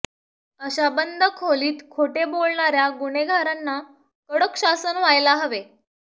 अशा बंद खोलीत खोटे बोलणाऱ्या गुन्हेगारांना कडक शासन व्हायला हवे